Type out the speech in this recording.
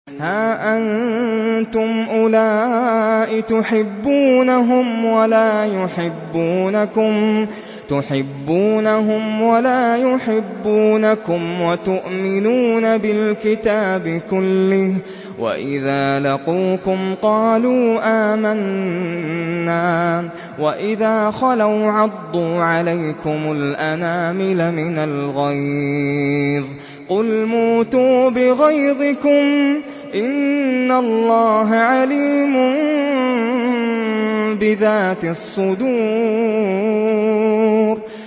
هَا أَنتُمْ أُولَاءِ تُحِبُّونَهُمْ وَلَا يُحِبُّونَكُمْ وَتُؤْمِنُونَ بِالْكِتَابِ كُلِّهِ وَإِذَا لَقُوكُمْ قَالُوا آمَنَّا وَإِذَا خَلَوْا عَضُّوا عَلَيْكُمُ الْأَنَامِلَ مِنَ الْغَيْظِ ۚ قُلْ مُوتُوا بِغَيْظِكُمْ ۗ إِنَّ اللَّهَ عَلِيمٌ بِذَاتِ الصُّدُورِ